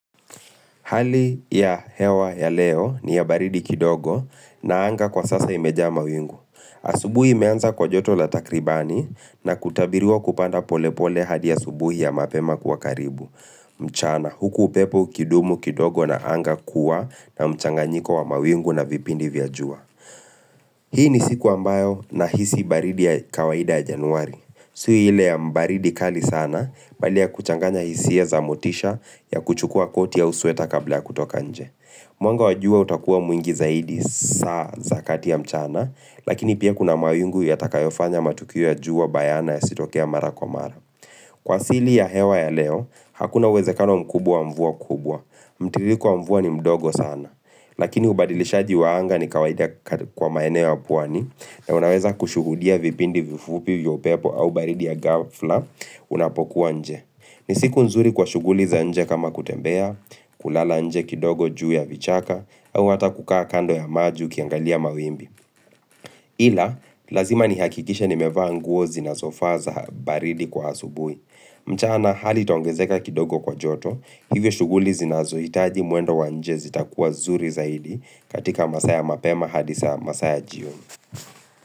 Hali ya hewa ya leo ni ya baridi kidogo na anga kwa sasa imejama wingu. Asubuhi imeanza kwa joto la takribani na kutabirua kupanda polepole hadi ya subuhi ya mapema kuwa karibu. Mchana huku pepo kidumu kidogo na anga kuwa na mchanganyiko wa mawingu na vipindi vya jua. Hii ni siku ambayo na hisi baridi ya kawaida ya januari. Sio hile ya mbaridi kali sana, bali ya kuchanganya hisie za motisha ya kuchukua koti ya usueta kabla ya kutoka nje. Mwanga wajua utakuwa mwingi zaidi saa zakati ya mchana, lakini pia kuna mawingu ya takayofanya matukia juwa bayana ya sitokea mara kwa mara. Kwa sili ya hewa ya leo, hakuna wezekano mkubwa mvua kubwa. Mtiririko wa mvua ni mdogo sana. Lakini ubadilishaji waanga ni kawaida kwa maeneo wa puwani na unaweza kushuhudia vipindi vifupi vya upepo au baridi ya gafla unapokuwa nje. Ni siku nzuri kwa shuguli za nje kama kutembea, kulala nje kidogo juu ya vichaka au hata kukaa kando ya maji kiangalia mawimbi. Ila, lazima ni hakikisha ni mevanguo zinasofaza baridi kwa asubui. Mchana, hali itongezeka kidogo kwa joto, hivyo shuguli zinazo itaji muendo wanjezi takuwa zuri zaidi katika masaya mapema hadisa masaya jioni.